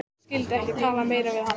Ég skyldi ekki tala meira við hann.